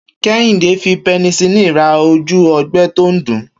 Kéhìndé fi penicillin ra ojú o̩gbé̩ tó ń dùn-ún